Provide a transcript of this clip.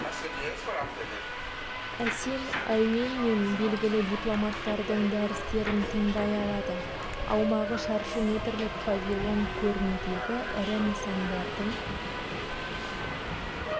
әсем әуен мен белгілі дипломаттардың дәрістерін тыңдай алады аумағы шаршы метрлік павильон көрмедегі ірі нысандардың